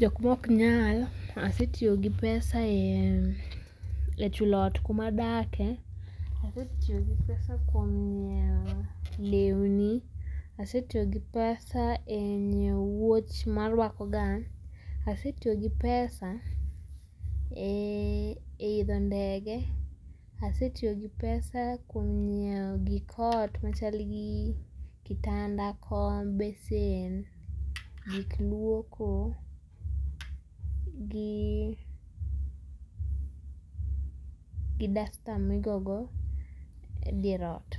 ,jokma ok nyal, asetiyo gi pesa ee chulo ot kuma adake, asetiyo gi pesa kuom nyiew lewni, asetiyo gi pesa e nyiew wuoch marwakoga, asetiyo gi pesa ee idho ndege, asetiyo gi pesa kuom nyiew gik ot machal gi kitanda, kom, besen, gik luoko, gi ,gi duster migogo dier ot.